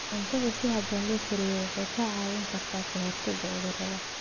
Cuntada si habboon loo kariyey waxay kaa caawin kartaa ka hortagga cudurrada.